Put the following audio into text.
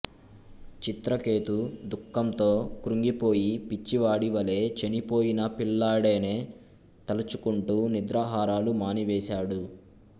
చిత్రకేతు దుఃఖంతో కృంగిపోయి పిచ్చివాడివలే చనిపోయిన పిల్లాడేనే తలచుకుంటూ నిద్రాహారాలు మానివేసాడు